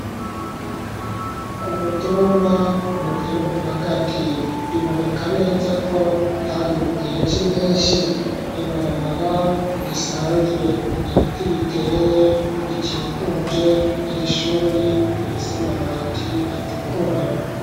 Ku mutumba mu gihugu hagati .Biboneka neza ko kari mu gihe c'impenshi ibarabara risanzwe ibiti biteye bikikuje irishuri ifise amabati atukura.